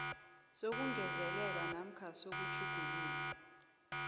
sokungezelela namkha sokutjhugulula